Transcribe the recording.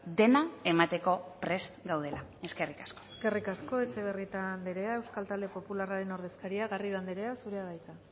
dena emateko prest gaudela eskerrik asko eskerrik asko etxebarrieta andrea euskal talde popularraren ordezkaria garrido andrea zurea da hitza